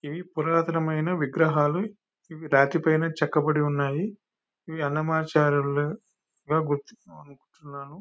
ఇవి పురాతనమైన విగ్రహాలు. ఇవి రాతి పైన చెక్కబడి ఉన్నాయి. ఇవి అన్నమాచార్యులు --]